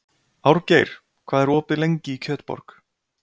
Árgeir, hvað er opið lengi í Kjötborg?